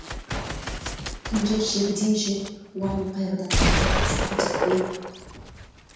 күндер жегідей жеп уайым қайғыдан тіпті басын көтертпейді